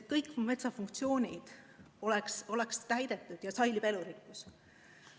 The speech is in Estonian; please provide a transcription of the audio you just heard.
Kõik metsa funktsioonid peaksid olema täidetud, siis säilib ka elurikkus.